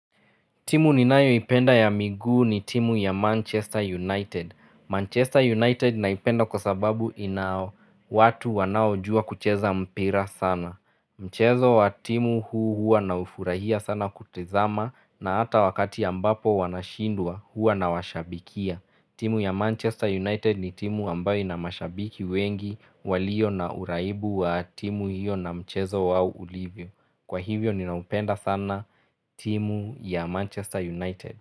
Timu ninayoipenda ya miguu ni timu ya Manchester United. Manchester United naipenda kwa sababu ina watu wanaojua kucheza mpira sana. Mchezo wa timu huu hua naufurahia sana kutizama na hata wakati ambapo wanashindwa hua nawashabikia. Timu ya Manchester United ni timu ambayo ina mashabiki wengi walio na uraibu wa timu hiyo na mchezo wao ulivyo. Kwa hivyo ninaupenda sana timu ya Manchester United.